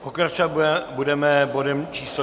Pokračovat budeme bodem číslo